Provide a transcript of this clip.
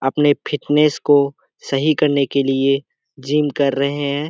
अपने फिटनेस को सही करने के लिए जिम कर रहें हैं।